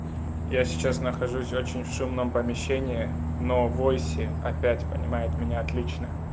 я сейчас нахожусь в очень в шумном помещении но в войсе опять понимают меня отлично